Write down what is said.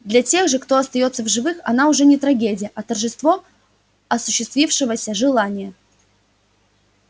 для тех же кто остаётся в живых она уже не трагедия а торжество осуществившегося желания